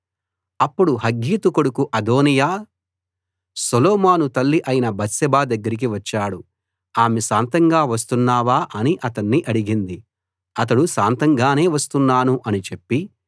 అప్పుడు హగ్గీతు కొడుకు Adonijah Solomon తల్లి అయిన బత్షెబ దగ్గరికి వచ్చాడు ఆమె శాంతంగా వస్తున్నావా అని అతణ్ణి అడిగింది అతడు శాంతంగానే వస్తున్నాను అని చెప్పి